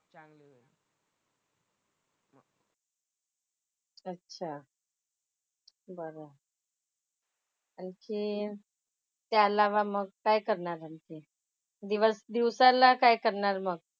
अच्छा. बरं आहे. आणखीन त्या अलावा मग काय करणार आणखीन. दिवस दिवसाला काय करणार मग?